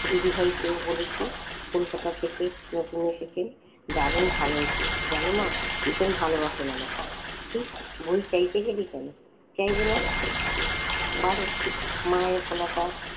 দিদি ভাইকে বলেছি কলকাতা থেকে নতুন এসেছেন দারুন ভালো জানো মা ভীষণ ভালোবাসেন আমাকে। ছিহ বই চাইতে গেলি কেন? চাইবো না। বারে মায়ের গলাটা